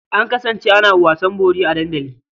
An kasance ana wasan bori a dandali.